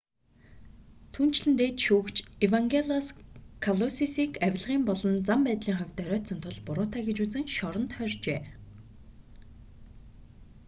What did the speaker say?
түүнчлэн дээд шүүгч евангелос калусисийг авилгын болон зан байдлын хувьд доройтсон тул буруутай гэж үзэн шоронд хорьжээ